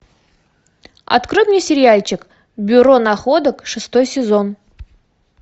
открой мне сериальчик бюро находок шестой сезон